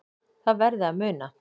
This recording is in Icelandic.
Það verði að muna